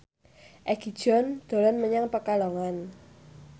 Egi John dolan menyang Pekalongan